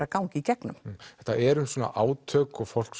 að ganga í gegnum þetta er um átök og fólk